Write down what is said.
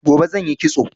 Gobe zan yi kitso